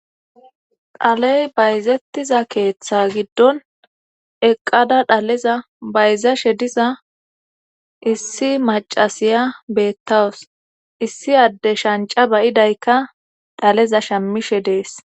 Dhaley bayzettiza keeththa giddon eqqada dhaleza bayzashe diza issi macasiya beettawus issi adde shanca bayidaykka dhaleza shamishe dees